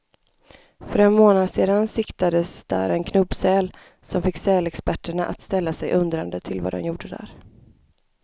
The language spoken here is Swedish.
För en månad sedan siktades där en knubbsäl, som fick sälexperterna att ställa sig undrande till vad den gjorde där.